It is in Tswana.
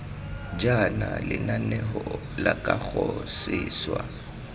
jaana lenaneo la kago seswa